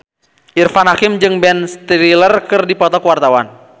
Irfan Hakim jeung Ben Stiller keur dipoto ku wartawan